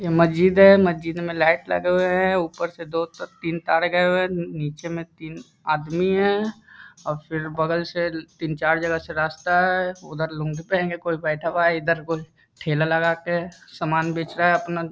यह मस्जिद है मस्जिद में लगा हुए है उपर से दो-तीन तार गए हुए हैं नीचे में तीन आदमी है और फिर बगल से तीन-चार जगह से रास्ता है उधर लुंगी पहिन के कोंई बैठा हुआ है इधर कोंई ठेला लगाके समान बेच रहा है अपना --